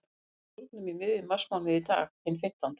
Það kemur uppúr dúrnum í miðjum marsmánuði, í dag, hinn fimmtánda.